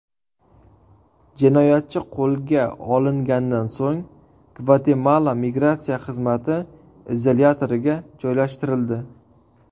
Jinoyatchi qo‘lga olingandan so‘ng Gvatemala migratsiya xizmati izolyatoriga joylashtirildi.